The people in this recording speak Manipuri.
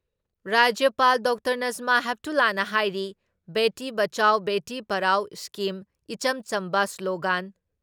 ꯔꯥꯖ꯭ꯌꯄꯥꯜ ꯗꯥ ꯅꯁꯃꯥ ꯍꯦꯞꯇꯨꯂꯥꯅ ꯍꯥꯏꯔꯤ ꯕꯦꯇꯤ ꯕꯆꯥꯎꯕꯦꯇꯤ ꯄꯔꯥꯎ ꯏꯁꯀꯤꯝ ꯏꯆꯝ ꯆꯝꯕ ꯁ꯭ꯂꯣꯒꯥꯟ